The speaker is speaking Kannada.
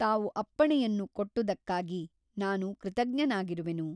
ತಾವು ಅಪ್ಪಣೆಯನ್ನು ಕೊಟ್ಟುದಕ್ಕಾಗಿ ನಾನು ಕೃತಜ್ಞನಾಗಿರುವೆನು.